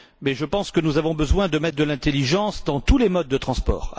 Mais je pense que nous avons besoin de mettre de l'intelligence dans tous les modes de transport.